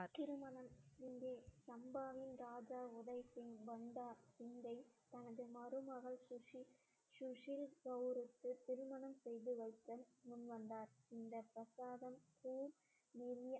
திருமணம் இங்கே சம்பாவின் ராஜா உதய் சிங் பண்டா சிங்கை தனது மருமகள் சுசி சுஷில் கவுருக்கு திருமணம் செய்து வைத்த முன் வந்தார் இந்த பிரசாதம்